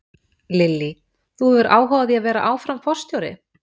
Lillý: Þú hefur áhuga á því að vera áfram forstjóri?